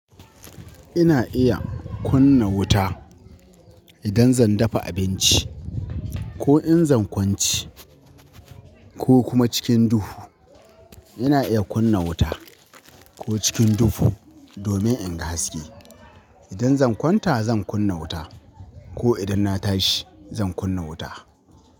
Ina iya kunna wuta idan zan dafa abinci, ko in zan kwanci ko kuma cikin duhu. Ina iya kunna wuta ko cikin duhu domin in ga haske. Idan zan kwanta zan kunna wuta ko idan na tashi zan kunna wuta.